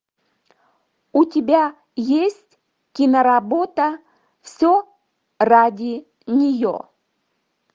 у тебя есть киноработа все ради нее